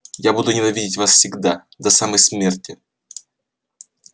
я буду ненавидеть вас всегда до самой смерти